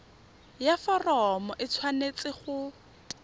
ya foromo e tshwanetse go